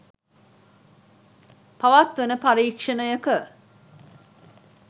පවත්වන පරීක්ෂණයක